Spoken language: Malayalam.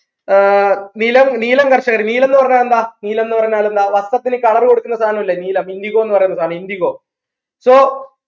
ആഹ് നിലം നീലം കർഷകർ നീലംന്ന് പറഞ്ഞ എന്താ നീലംന്ന് പറഞ്ഞാൽ എന്താ വട്ടത്തിൽ colour കൊടുക്കുന്ന സാനം ഇല്ലേ നീലം indigo ന്ന് പറയുന്ന സാധനം indigo so